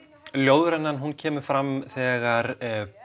ljóðrænan kemur fram þegar